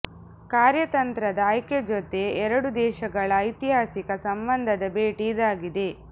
ಕಾರ್ಯತಂತ್ರದ ಆಯ್ಕೆ ಜೊತೆ ಎರಡು ದೇಶಗಳ ಐತಿಹಾಸಿಕ ಸಂಬಂಧದ ಭೇಟಿ ಇದಾಗಿದೆ